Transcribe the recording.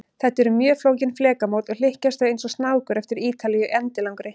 Þetta eru mjög flókin flekamót, og hlykkjast þau eins og snákur eftir Ítalíu endilangri.